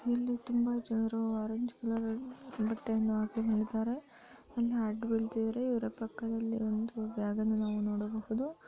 ಇಲ್ಲಿ ತುಂಬಾ ಜನರು ಆರೆಂಜ್ ಕಲರ್ ಬಟ್ಟೆಯನ್ನ ಹಾಕಿಕೊಂಡಿದ್ದಾರೆ ಇಲ್ಲೇ ಅದ್ಬಿಲ್ತಿದ್ದಾರೆ ಇವರ ಪಕ್ಕದಲ್ಲಿ ಒಂದು ಬಬ್ಯಾಗನ್ನು ನಾವು ನೋಡಬಹುದು.